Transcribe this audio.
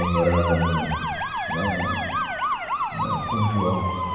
Ela morava no, lá na, na São João.